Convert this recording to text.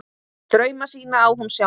Drauma sína á hún sjálf.